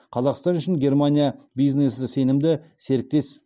қазақстан үшін германия бизнесі сенімді серіктес